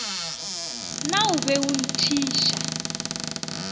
na o be a thiša